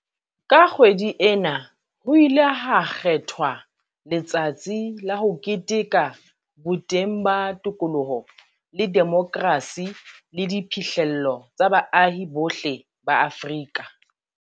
Ka kgwedi ena ho ile ha kgethwa letsatsi la ho keteka boteng ba tokoloho le demokrasi le diphihlello tsa baahi bohle ba Afrika